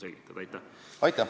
Aitäh!